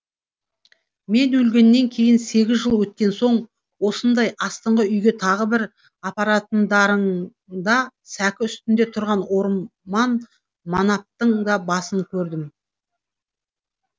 мен өлгеннен кейін сегіз жыл өткен соң осындай астыңғы үйге тағы бір апарғандарында сәкі үстінде тұрған орман манаптың да басын көрдім